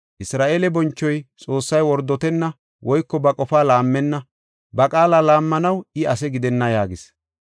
Isra7eele bonchoy, Xoossay wordotenna woyko ba qofaa laammenna; ba qaala laammanaw I asi gidenna” yaagis.